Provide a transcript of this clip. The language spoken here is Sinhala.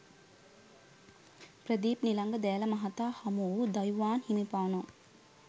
ප්‍රදීප් නිලංග දෑල මහතා හමුවූ දයුවාන් හිමිපාණෝ